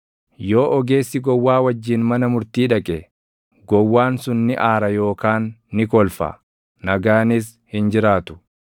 Yoo ogeessi gowwaa wajjin mana murtii dhaqe, gowwaan sun ni aara yookaan ni kolfa; nagaanis hin jiraatu.